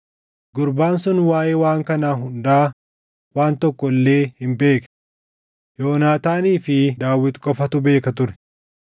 Gurbaan sun waaʼee waan kana hundaa waan tokko illee hin beekne; Yoonaataanii fi Daawit qofatu beeka ture.